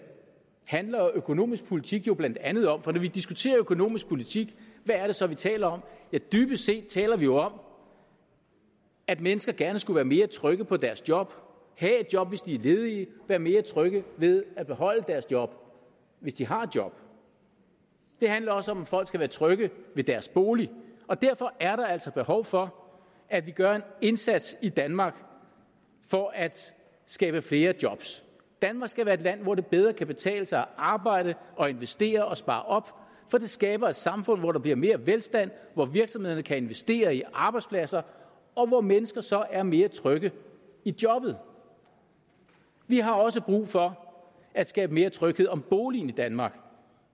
handler økonomisk politik jo blandt andet om for når vi diskuterer økonomisk politik hvad er det så vi taler om dybest set taler vi jo om at mennesker gerne skulle være mere trygge på deres job have et job hvis de er ledige være mere trygge ved at beholde deres job hvis de har et job det handler også om at folk skal være trygge ved deres bolig og derfor er der altså behov for at vi gør en indsats i danmark for at skabe flere jobs danmark skal være et land hvor det bedre kan betale sig at arbejde og investere og spare op for det skaber et samfund hvor der bliver mere velstand hvor virksomhederne kan investere i arbejdspladser og hvor mennesker så er mere trygge i jobbet vi har også brug for at skabe mere tryghed om boligen i danmark